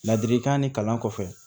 Ladilikan ni kalan kɔfɛ